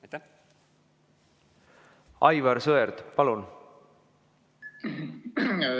Aivar Sõerd, palun!